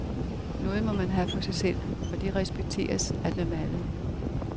Noget må man have for sig selv, og det respekteres af dem alle.